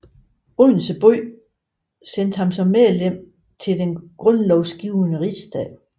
Odense by sendte ham som medlem til den grundlovsgivende rigsdag